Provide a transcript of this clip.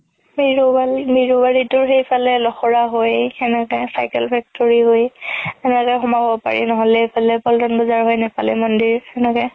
বিৰোবাৰি, বিৰোবাৰি তোৰ সেইফালে লোখৰা হৈ সেনেকে cycle factory হৈ সেনেকে সোমাব পাৰি নহ'লে ইফালে পল্টন বজাৰ হৈ নেপালি মন্দিৰ সেনেকে